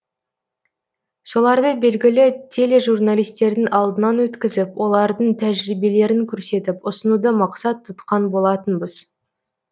соларды белгілі тележурналистердің алдынан өткізіп олардың тәжірибелерін көрсетіп ұсынуды мақсат тұтқан болатынбыз